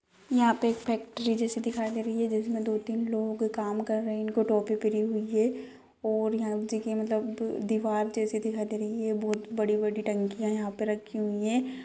यहाँ पे एक फैक्ट्री जैसी दिखाई दे रही है जिसमें दो तीन लोग काम कर रहे हैं इनको टोपी पहरी हुई हैं और यहाँ देखिए मतलब दीवार जैसी दिखाई दे रही है बहोत बड़ी -बड़ी टंकिया यहाँ पे रखी हुई हैं।